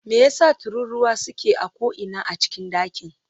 Me yasa tururuwa suke a ko'ina a cikin dakin?